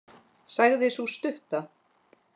sagði sú stutta.